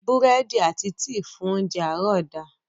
Búrẹ́dì àti tíì fún óńjẹ àárọ̀ da.